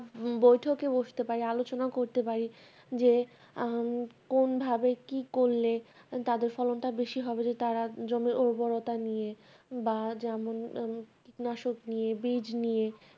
বৈঠকে বসতে পারি আলচনা করতে পারি যে উম কোন ভাবে কি করলে তাদের ফলনটা বেশি হবে যদি তারা জমি উর্বরতা নিয়ে বা যেমন উম কীটনাশক নিয়ে বীজ নিয়ে